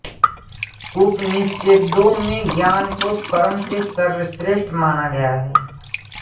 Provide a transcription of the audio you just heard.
उपनिषदों में ज्ञान को कर्म से श्रेष्ठ माना गया है